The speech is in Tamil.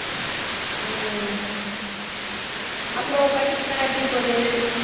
உம் அப்புறம் படிப்பு எல்லாம் எப்படி போகுது